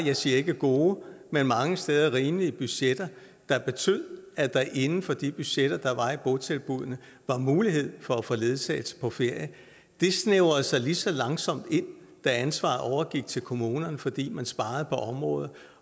jeg siger ikke gode men mange steder rimelige budgetter der betød at der inden for de budgetter der var i botilbuddene var mulighed for at få ledsagelse på ferie det snævrede sig lige så langsomt ind da ansvaret overgik til kommunerne fordi man sparede på området